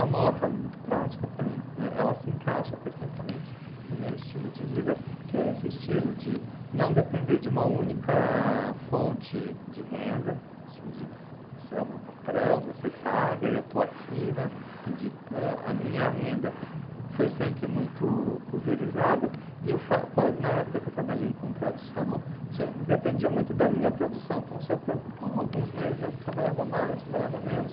A moto ela é muito prática para mim, né, ela se encaixa perfeitamente no meu estilo de vida que é esse estilo de não depender de uma única fonte de renda, tipo assim, de, você é o meu patrão, você paga e eu estou aqui, né, assim de, né, a minha renda foi sempre muito pulverizada e eu fa quando na época que eu trabalhei com tradução dependia muito da minha produção então se eu pro então alguns meses eu trabalhava mais, trabalhava menos